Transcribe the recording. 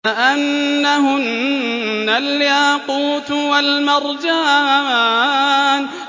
كَأَنَّهُنَّ الْيَاقُوتُ وَالْمَرْجَانُ